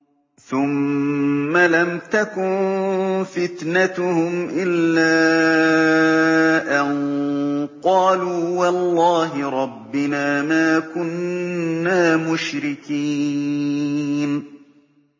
ثُمَّ لَمْ تَكُن فِتْنَتُهُمْ إِلَّا أَن قَالُوا وَاللَّهِ رَبِّنَا مَا كُنَّا مُشْرِكِينَ